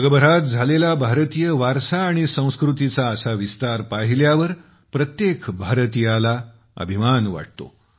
जगभरात झालेला भारतीय वारसा आणि संस्कृतीचा असा विस्तार पाहिल्यावर प्रत्येक भारतीयाला अभिमान वाटतो